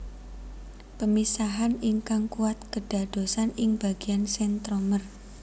Pemisahan ingkang kuat kedadosan ing bagian sentromer